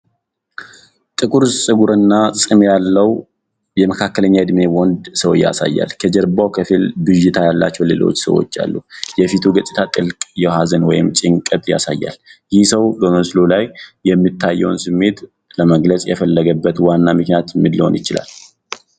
ጥቁር ፀጉርና ፂም ያለውን የመካከለኛ ዕድሜ ወንድ ሰው ያሳያል፤ ከጀርባው ከፊል-ብዥታ ያላቸው ሌሎች ሰዎች አሉ፤ የፊቱ ገፅታ ጥልቅ ሀዘን ወይም ጭንቀት ያሳያል፤ ይህ ሰው በምስሉ ላይ የሚታየውን ስሜት ለመግለጽ የፈለገበት ዋና ምክንያት ምን ሊሆን ይችላል?